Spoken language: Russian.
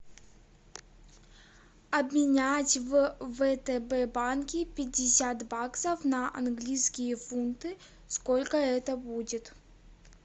обменять в втб банке пятьдесят баксов на английские фунты сколько это будет